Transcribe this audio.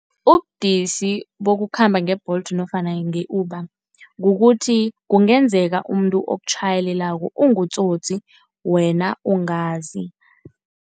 Ubudisi bokukhamba nge-Bolt nofana nge-Uber kukuthi kungenzeka umuntu okutjhayelelako ungutsotsi wena ungazi.